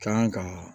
Kan ka